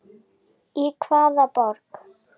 Í hvaða borg?